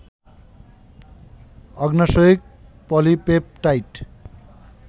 অগ্ন্যাশয়িক polypeptide